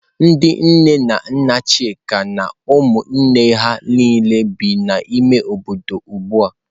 Ndị nne na nna Chika na nwanne nne ha niile bi n'ime obodo ugbu a.